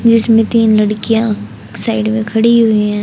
जिसमें तीन लड़कियाँ साइड में खड़ी हुई हैं।